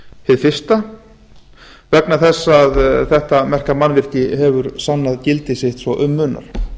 hið fyrsta vegna þess að þetta merka mannvirki hefur sannað gildi sitt svo um munar